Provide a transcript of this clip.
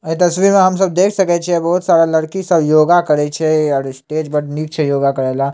अइ तस्वीर में हम सब देख सकइ बहुत सारा लड़की सब योगा करइ छै और स्टेज पे नीचे योगा करेला।